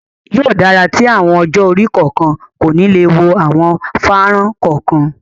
Yóò dára tí àwọn ọjọ́-orí kọ̀ọ̀kan kò ni le wo àwọn fánrán kọ̀ọ̀kan.